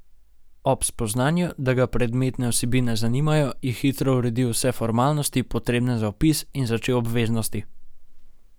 Ob spoznanju, da ga predmetne vsebine zanimajo, je hitro uredil vse formalnosti, potrebne za vpis, in začel obveznosti.